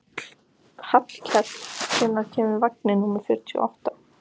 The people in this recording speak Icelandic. Hvað bjátaði á hjá þeim og hvað gladdi þær?